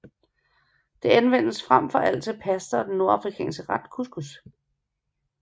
Det anvendes frem for alt til pasta og den nordafrikanske ret couscous